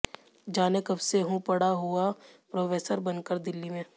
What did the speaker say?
जाने कब से हूँ पड़ा हुआ प्रोफेसर बन कर दिल्ली में